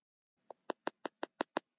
Síðan náði Jói í poka.